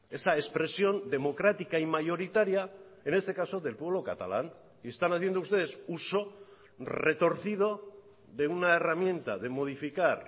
esa expresión democrática y mayoritaria en este caso del pueblo catalán y están haciendo ustedes uso retorcido de una herramienta de modificar